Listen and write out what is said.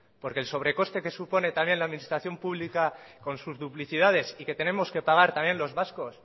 porque el sobre coste que supone también la administración pública con sus duplicidades y que tenemos que pagar también los vascos